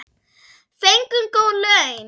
Fengum góð laun.